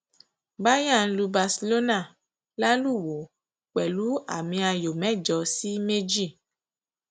bayern lu barcelona lálùwò pẹlú àmìayò mẹjọ sí méjì